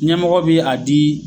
Ɲɛmɔgɔ be a dii